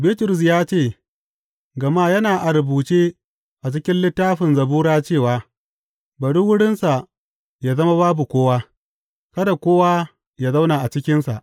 Bitrus ya ce, Gama yana a rubuce a cikin Littafin Zabura cewa, Bari wurinsa yă zama babu kowa; kada kowa ya zauna a cikinsa,’